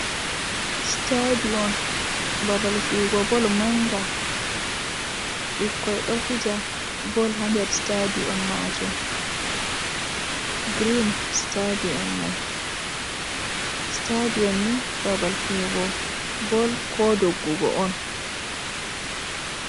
Stadion babal fiyugo bol manga. Ɓikkoi ɗo fija bol ha nder stadion majum. Girin stadion mai. Stadion ni babal fiyugo bol ko doggudu on.